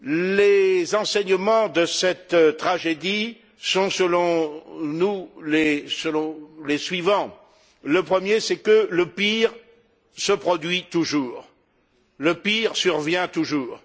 Les enseignements de cette tragédie sont, selon nous, les suivants le premier c'est que le pire se produit toujours, le pire survient toujours.